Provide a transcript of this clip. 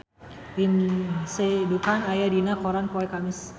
Lindsay Ducan aya dina koran poe Kemis